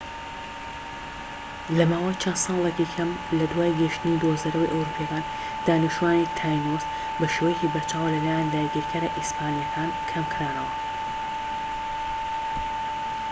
لە ماوەی چەند ساڵێکی کەم لە دوای گەیشتنی دۆزەرەوە ئەوروپیەکان دانیشتوانی تاینۆس بەشێوەیەکی بەرچاو لە لایەن داگیرکەرە ئیسپانیەکان کەم کرانەوە